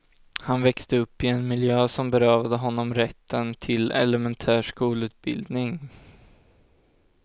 Han växte upp i en miljö som berövade honom rätten till elementär skolutbildning.